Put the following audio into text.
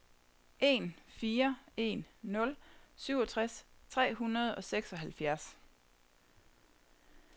en fire en nul syvogtres tre hundrede og seksoghalvfjerds